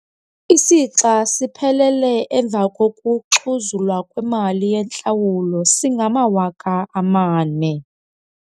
Isixa siphelele emva kokuxhuzulwa kwemali yentlawulo singamawaka amane.